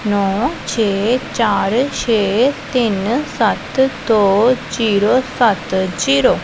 ਨੋ ਛੇ ਚਾਰ ਛੇ ਤਿੰਨ ਸੱਤ ਦੋ ਜ਼ੀਰੋ ਸੱਤ ਜ਼ੀਰੋ ।